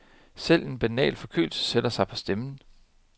Selv en banal forkølelse sætter sig på stemmen.